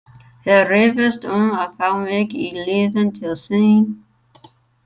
Þeir rifust um að fá mig í liðin til sín.